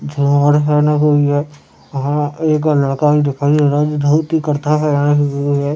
जवार है यहाँ एक लड़का भी दिखाई दे रहा है हैं।